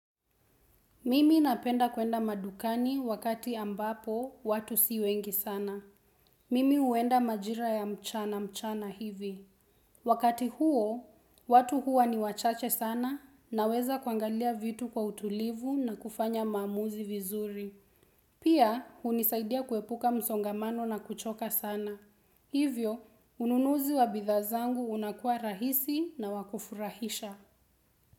Mimi napenda kuenda madukani wakati ambapo watu si wengi sana. Mimi huenda majira ya mchana mchana hivi. Wakati huo, watu huwa ni wachache sana naweza kuangalia vitu kwa utulivu na kufanya maamuzi vizuri. Pia, hunisaidia kuepuka msongamano na kuchoka sana. Hivyo, ununuzi wa bidhaa zangu unakuwa rahisi na wa kufurahisha.